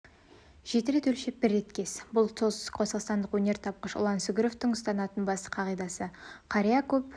жеті рет өлшеп бір рет кес бұл солтүстікқазақстандық өнертапқыш ұлан сүгіровтың ұстанатын басты қағидасы қария көп